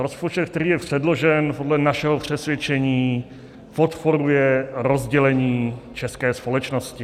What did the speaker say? Rozpočet, který je předložen, podle našeho přesvědčení podporuje rozdělení české společnosti.